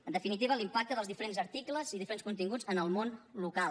en definitiva l’impacte dels diferents articles i diferents continguts en el món local